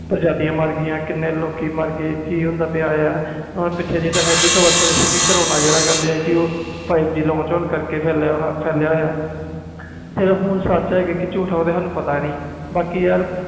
ਕਿੰਨੀਆਂ ਪ੍ਰਜਾਤੀਆਂ ਮਰ ਗਈਆਂ ਕੀਨੇ ਲੋਕੀ ਮਾਰ ਗਏ ਕਿ ਹੁੰਦਾ ਪਿਆ ਪਿੱਛੇ ਜੇ ਇਹ ਵੀ ਹੋਇਆ ਸੀ ਕਿ ਕਰੋਨਾ ਜਿਹੜਾ ਕਕਹਿੰਦੇ ਸੀ ਹੋਣ ਕਰਕੇ ਫੈਲਿਆ ਹੁਣ ਆਹ ਸੱਚ ਜਾ ਜੂਠ ਆ ਪਤਾ ਨਹੀਂ